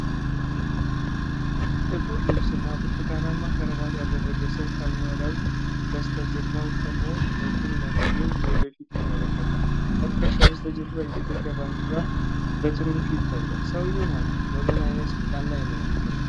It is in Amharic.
ጥቁር ልብስ እና ብርቱካናማ ክራባት ያደረገ ሰው ከመረብ በስተጀርባ ቆሞ በቁም ነገር ወደ ፊት ይመለከታል። ከትከሻው በስተጀርባ የኢትዮጵያ ባንዲራ በትንሹ ይታያል። ሰውዬው ማን ነው? በምን ዓይነት ሥልጣን ላይ ነው የሚገኘው?